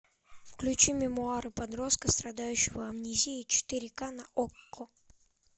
включи мемуары подростка страдающего амнезией четыре к на окко